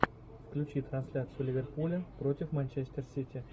включи трансляцию ливерпуля против манчестер сити